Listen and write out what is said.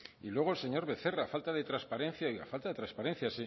y luego el señor becerra falta de transparencia